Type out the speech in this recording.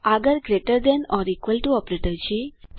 આગળ greater than or equal to operator છે